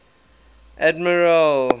admiral